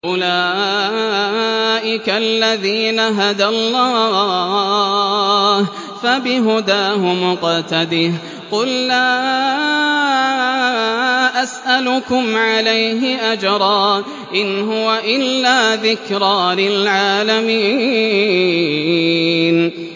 أُولَٰئِكَ الَّذِينَ هَدَى اللَّهُ ۖ فَبِهُدَاهُمُ اقْتَدِهْ ۗ قُل لَّا أَسْأَلُكُمْ عَلَيْهِ أَجْرًا ۖ إِنْ هُوَ إِلَّا ذِكْرَىٰ لِلْعَالَمِينَ